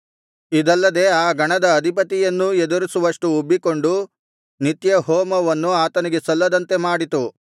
ಇದಲ್ಲದೆ ಆ ಗಣದ ಅಧಿಪತಿಯನ್ನೂ ಎದುರಿಸುವಷ್ಟು ಉಬ್ಬಿಕೊಂಡು ನಿತ್ಯಹೋಮವನ್ನು ಆತನಿಗೆ ಸಲ್ಲದಂತೆ ಮಾಡಿತು